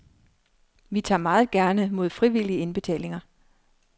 Vi tager meget gerne mod frivillige indbetalinger.